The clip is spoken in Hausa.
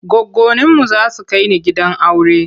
Goggoninmu za su kai ni gidan aure.